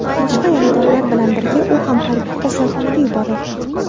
Boshqa yaradorlar bilan birga u ham harbiy kasalxonaga yuborildi.